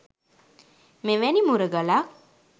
මෙවැනි මුරගලක්